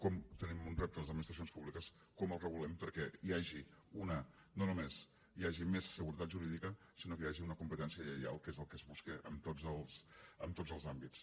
com tenim un repte les administracions públiques el regulem perquè no només hi hagi més seguretat jurídica sinó que hi hagi una competència lleial que és el que es busca en tots els àmbits